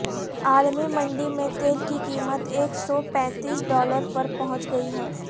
عالمی منڈی میں تیل کی قیمت ایک سو پینتیس ڈالر پر پہنچ گئی ہے